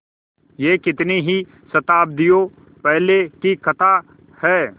यह कितनी ही शताब्दियों पहले की कथा है